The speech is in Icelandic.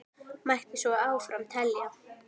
Mætti svo áfram telja.